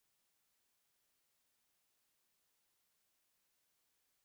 Ose na-wepụta ekpomoku na nri dị iche iche